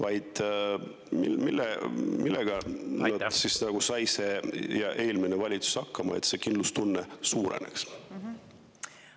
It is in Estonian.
Aga millega on saanud hakkama see valitsus ja sai hakkama eelmine valitsus selleks, et kindlustunne suureneks?